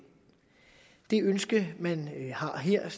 det ønske man har her